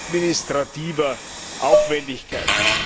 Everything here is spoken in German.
administrativer Aufwendigkeit.